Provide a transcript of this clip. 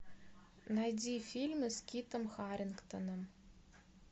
найди фильмы с китом харингтоном